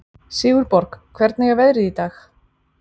Sigurborg, hvernig er veðrið í dag?